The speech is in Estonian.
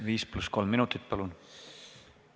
5 + 3 minutit, palun!